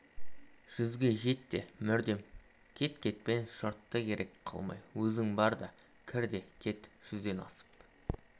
жүзге жет те мүрдем кет кетпен-шотты керек қылмай өзің бар да кір де кет жүзден асып